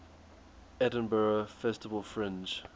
edinburgh festival fringe